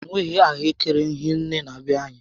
Anyị enweghị ahụekere hie nné na be anyị